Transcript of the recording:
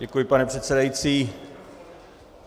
Děkuji, pane předsedající.